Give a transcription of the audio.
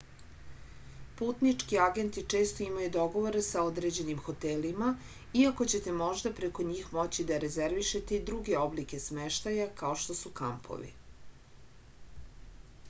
putnički agenti često imaju dogovore sa određenim hotelima iako ćete možda preko njih moći da rezervišete i druge oblike smeštaja kao što su kampovi